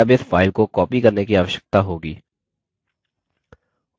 हमें केवल database file को copy करने की आवश्यकता होगी